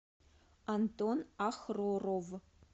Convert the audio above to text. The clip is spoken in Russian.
антон ахроров